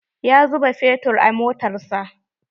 Ya zuba feturin a motar sa.